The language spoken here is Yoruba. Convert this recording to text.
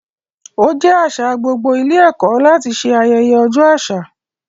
Ó jẹ́ àṣà gbogbo ilé ẹ̀kọ́ láti ṣe ayẹyẹ ọjọ́ àṣà.